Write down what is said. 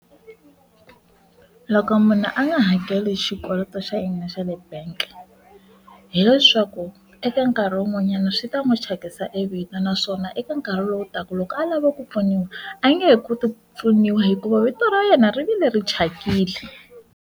Loko munhu a nga hakeli xikweleti xa yena xa le bank hileswaku eka nkarhi wun'wanyana swi ta n'wi thyakisa e vito naswona eka nkarhi lowu taka loko a lava ku pfuniwa a nge he koti pfuniwa hikuva vito ra yena rivilo leri thyakile.